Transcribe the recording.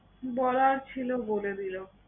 বলার ছিল বলে দিলো।